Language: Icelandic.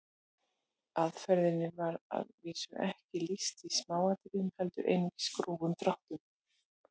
Aðferðinni var að vísu ekki lýst í smáatriðum heldur einungis grófum dráttum.